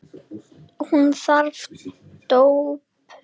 Hún þagði döpur.